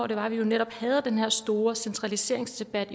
dejligt at høre den her store centraliseringsdebat